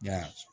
Ya